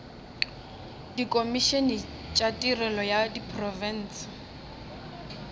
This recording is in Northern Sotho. dikhomišene tša tirelo ya diprofense